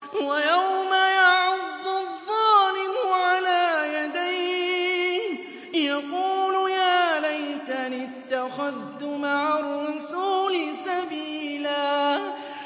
وَيَوْمَ يَعَضُّ الظَّالِمُ عَلَىٰ يَدَيْهِ يَقُولُ يَا لَيْتَنِي اتَّخَذْتُ مَعَ الرَّسُولِ سَبِيلًا